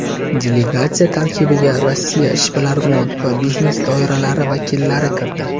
Delegatsiya tarkibiga Rossiya ishbilarmon va biznes doiralari vakillari kirdi.